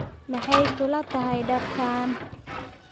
Maxay kula tahay dharkan?